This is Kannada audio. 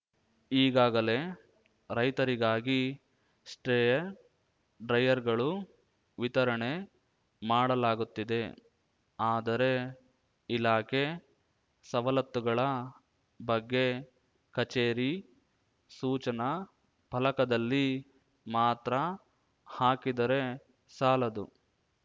ಈಗಾಗಲೇ ರೈತರಿಗಾಗಿ ಸ್ಟ್ರೇ ಡ್ರೈಯರ್‌ಗಳು ವಿತರಣೆ ಮಾಡಲಾಗುತ್ತಿದೆ ಆದರೆ ಇಲಾಖೆ ಸವಲತ್ತುಗಳ ಬಗ್ಗೆ ಕಚೇರಿ ಸೂಚನಾ ಫಲಕದಲ್ಲಿ ಮಾತ್ರ ಹಾಕಿದರೆ ಸಾಲದು